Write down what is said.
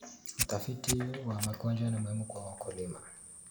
Utafiti wa magonjwa ni muhimu kwa wakulima.